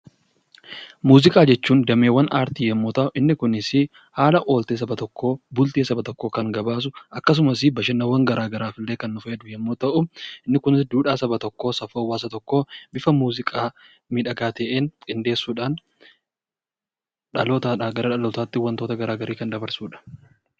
Muuziqaa jechuun dameewwan aartii yommuu ta'u, inni kunis haala ooltee saba tokkoo, bultii saba tokkoo kan gabaasu akkasumas bashannanawwan garaa garaafillee kan fayyadu yommuu ta'u, inni kunis duudhaa saba tokkoo, safuu hawaasa tokkoo bifa muuziqaa miidhagaa ta'een qindeessuudhaan dhalootaadhaa gara dhalootaatti wantoota garaa garii kan dabarsudha.